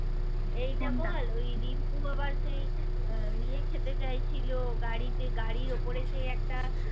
এইটা বল ওই রিংকু আবার সেই ইয়ে খেতে চাইছিল গাড়িতে গাড়ির ওপরে সেই একটা